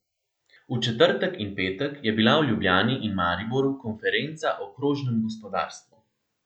V četrtek in petek je bila v Ljubljani in Mariboru konferenca o krožnem gospodarstvu.